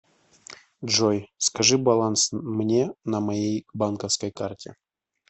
джой скажи баланс мне на моей банковской карте